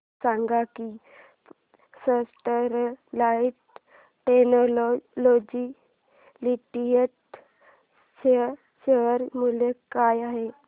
हे सांगा की स्टरलाइट टेक्नोलॉजीज लिमिटेड चे शेअर मूल्य काय आहे